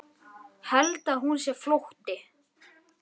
Held að hún sé flótti.